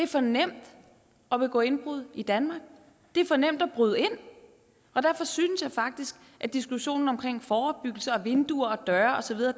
for nemt at begå indbrud i danmark det er for nemt at bryde ind og derfor synes jeg faktisk at diskussionen om forebyggelse og vinduer og døre og så videre